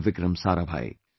Vikram Sarabhai